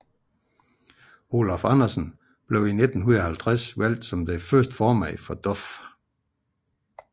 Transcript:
Olaf Andersen blev i 1950 valgt som den første formand for DOF